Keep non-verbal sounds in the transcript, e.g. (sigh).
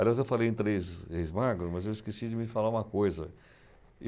Aliás, eu falei em três, (unintelligible) mas eu esqueci de me falar uma coisa.